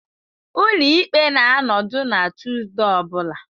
Ụlọ ikpe na-anọdụ na Tuesday ọ bụla.